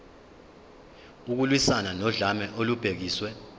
ukulwiswana nodlame olubhekiswe